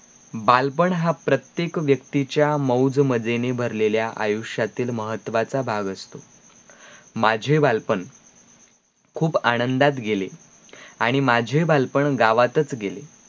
बालपण हा प्रत्येक व्यक्तीच्या मौज मजेने भरलेल्या आयुष्यातील महत्वाचा भाग असतो माझे बालपण खूप आनंदात गेले आणी माझे बालपण गावातच गेले